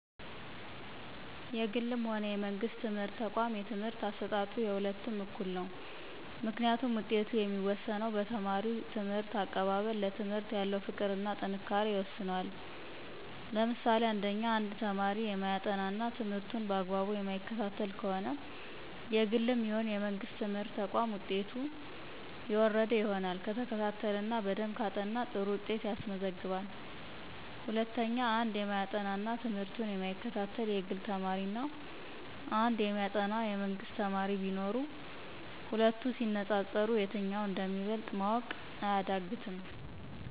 የግልም ሆነ የመንግስት ትምህርት ተቋም የትምህርት አሰጣጡ የሁለቱም እኩል ነው። ምክንያቱም ውጤቱ የሚወሰነው በተማሪው ትምህርት አቀባበል፣ ለትምህርት ያለው ፍቅር እና ጥንካሬ ይወስነዋል። ለምሳሌ1፦ አንድ ተማሪ የማያጠና እና ትምህርቱን በአግባቡ የማይከታተል ከሆነ የግልም ይሁን የመንግስት ትምህርት ተቋም ውጤቱ የወረደ ይሆናል። ከተከታተለ እና በደንብ ካጠና ጥሩ ውጤት ያስመዘግባል። ለምሳሌ 2፦ አንድ የማያጠና እና ትምህርቱን የማይከታተል የግል ተማሪ እና አንድ የሚያጠና የመንግስት ተማሪ ቢኖሩ ሂለቱ ሲነፃፀሩ የትኛው እንደሚበልጥ ማወቅ አያዳግትም።